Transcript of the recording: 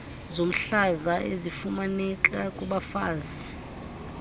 zomhlaza ezifumaneka kubafazi